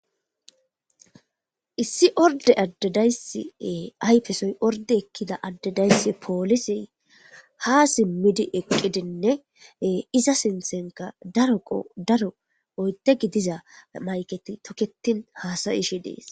Issi orde addedaysi ayfesoy orde ekkida addedayssi poolisey ha simmidi eqqidinne iza sinthenka daroqo daro oyte gidiza mayketi tokketin hasayishi dees.